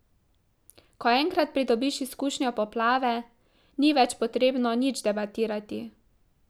Ko enkrat pridobiš izkušnjo poplave, ni več potrebno nič debatirati.